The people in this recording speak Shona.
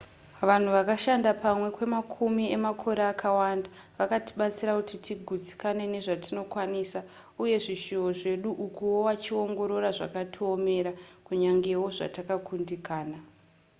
vanhu vakashanda pamwe kwemakumi emakore akawanda vakatibatsira kuti tigutsikane nezvatinokwanisa uye zvishuwo zvedu ukuwo wachiongorora zvakatiomera kunyangewo zvatakakundikana